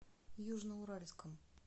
южноуральском